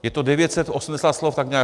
Je to 980 slov, tak nějak.